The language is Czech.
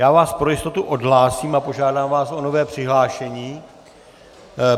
Já vás pro jistotu odhlásím a požádám vás o nové přihlášení.